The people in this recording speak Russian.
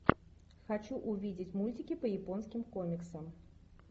хочу увидеть мультики по японским комиксам